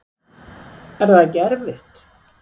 Er það ekki erfitt?